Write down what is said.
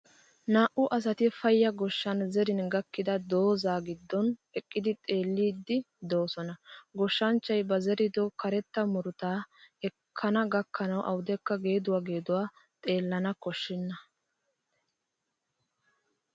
Naa"u asati payya goshshan zerin gakkida doozzaa giddon eqqidi xeelliiddi de'oosona. Goshshanchchay ba zerido karetta murutaa ekkana gakkanawu awudekka geeduwa geeduwa xeellana koshshena.